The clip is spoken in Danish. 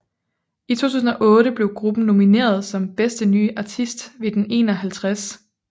I 2008 blev gruppen nomineret som Bedste Nye Artist ved den 51